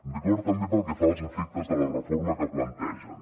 rigor també pel que fa als efectes de la reforma que plantegen